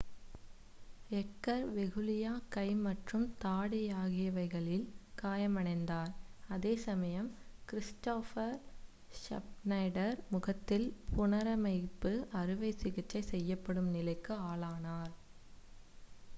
Edgar வெகுல்லியா கை மற்றும் தாடை ஆகியவைகளில் காயமடைந்தார் அதே சமயம் க்ரிஸ்டாஃப் ஷ்னைடர் முகத்தில் புனரமைப்பு அறுவை சிகிச்சை செய்யப்படும் நிலைக்கு ஆளானார்